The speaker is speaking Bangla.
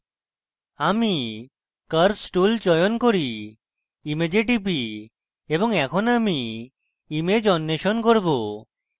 আমি curves tool চয়ন করি image টিপি এবং এখন আমি image অন্বেষণ করব